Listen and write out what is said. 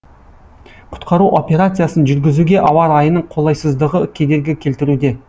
құтқару операциясын жүргізуге ауа райының қолайсыздығы кедергі келтіруде